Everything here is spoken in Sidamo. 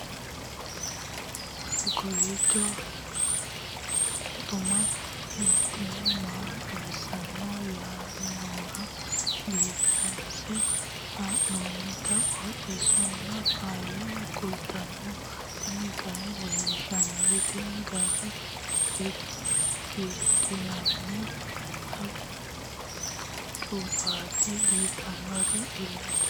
kowiicho xuma mtini maa xawissanno yaannohura biifinse haa'noonniti qooxeessano faayya kultanno tini kayi leellishshannori tini giira giidhinnanni baccubbaati biiffannori illete